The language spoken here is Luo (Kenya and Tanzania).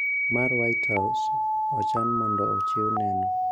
Mar White House ochan mondo ochiw neno